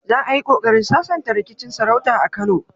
Za a yi kokarin sasanta rikicin sarauta a Kano.